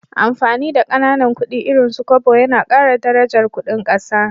Amfani da Kananan kudi irin su Kobo Yana Kara darajar Ƙudin ƙasa